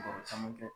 Baro caman kɛ